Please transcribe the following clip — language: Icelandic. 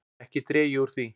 Ekki dreg ég úr því.